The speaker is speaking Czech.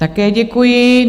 Také děkuji.